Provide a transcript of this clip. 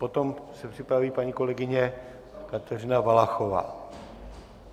Potom se připraví paní kolegyně Kateřina Valachová.